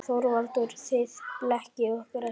ÞORVALDUR: Þið blekkið okkur ekki.